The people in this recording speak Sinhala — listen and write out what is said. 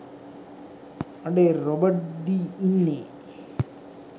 අඩේ රොබට් ඩි ඉන්නේ